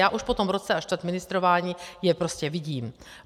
Já už po tom roce a čtvrt ministrování je prostě vidím.